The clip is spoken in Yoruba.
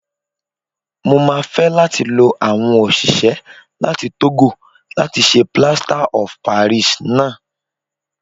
Mo máa fẹ́ láti lo àwọn òṣìṣẹ́ láti Tógò láti ṣe Plaster of Paris náà. S